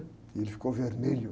E ele ficou vermelho.